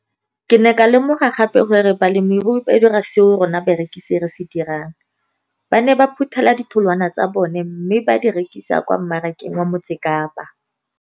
Ke ne ka lemoga gape gore balemirui ba dira seo rona barekisi re se dirang, ba ne ba phuthela ditholwana tsa bona mme ba di rekisa kwa marakeng wa Motsekapa.